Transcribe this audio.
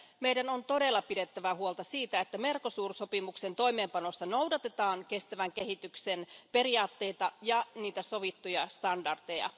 Meidän on todella pidettävä huolta siitä, että Mercosur sopimuksen toimeenpanossa noudatetaan kestävän kehityksen periaatteita ja niitä sovittuja standardeja.